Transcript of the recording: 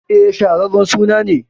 E, shaharren suna ne.